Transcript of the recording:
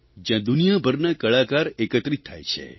જયાં દુનિયાભરના કળાકાર એકત્રિત થાય છે